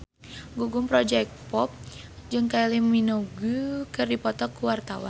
Gugum Project Pop jeung Kylie Minogue keur dipoto ku wartawan